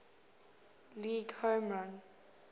league home run